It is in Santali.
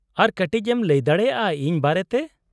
-ᱟᱨ ᱠᱟᱹᱴᱤᱡ ᱮᱢ ᱞᱟᱹᱭ ᱫᱟᱲᱮᱭᱟᱼᱟ ᱤᱧ ᱵᱟᱨᱮᱛᱮ ?